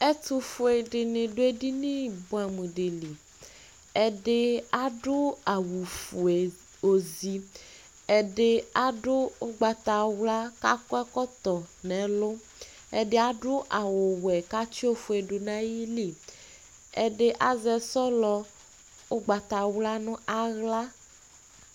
Ɛtʋfue dini duedini buamʋ dili Ɛdi adu awʋ fue ozi, adi adʋ ʋgbatawla kakɔ ɛkotɔ nɛlu Ɛdi adʋ awʋ wɛ katsi ofuedu nayili, adi azɛ sɔlɔ ʋgbatawla nʋ aɣla